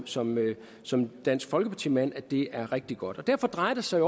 som som dansk folkeparti mand er rigtig godt derfor drejer det sig